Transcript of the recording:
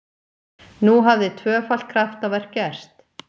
Nú hafði tvöfalt kraftaverk gerst!